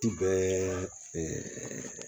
Ti bɛɛ